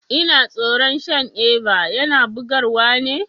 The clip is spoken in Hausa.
Ina tsoron shan Eva, yana bugar wa ne?